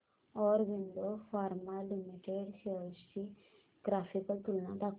Aurobindo pharma limited shares ची graphical तुलना दाखव